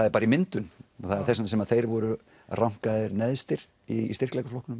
er bara í myndun og það er þess vegna sem þeir voru neðstir í